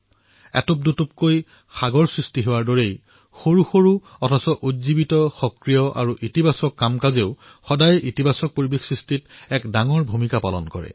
যিদৰে অসংখ্য টোপালৰ পৰা সাগৰৰ সৃষ্টি হয় ঠিক সেইদৰে সৰু সৰু সজাগতা আৰু সক্ৰিয়তা তথা ধনাত্মক ক্ৰিয়াই সদায় ধনাত্মক পৰিবেশ সৃষ্টিত গুৰুত্বপূৰ্ণ ভূমিকা পালন কৰে